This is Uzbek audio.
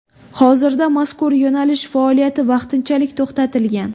Hozirda mazkur yo‘nalish faoliyati vaqtinchalik to‘xtatilgan.